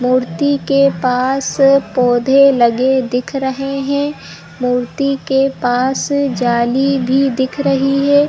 मूर्ती के पास पौधे लगे दिख रहे है मूर्ती के पास जाली भी दिख रही है।